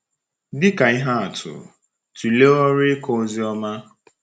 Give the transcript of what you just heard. Dị ka ihe atụ, tụlee ọrụ ịkọ ozi ọma.